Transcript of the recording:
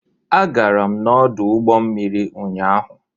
Agara m n'ọdụ ụgbọ mmiri ụnyaahụ